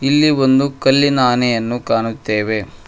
ಇಲ್ಲಿ ಒಂದು ಕಲ್ಲಿನ ಆನೆಯನ್ನು ಕಾಣುತ್ತೇವೆ.